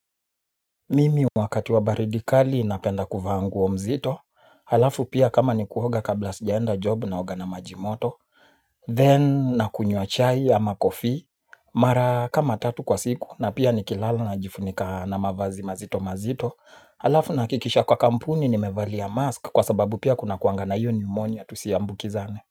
Mimi wakati wa baridi kali napenda kuvaa nguo mzito, halafu pia kama ni kuoga kabla sijaenda job naoga na maji moto, then nakunyuwa chai ama coffee, mara kama tatu kwa siku na pia nikilala najifunika na mavazi mazito mazito, alafu nahakikisha kwa kampuni nimevalia mask kwa sababu pia kunakuangana iyo pneumonia tusiambukizane.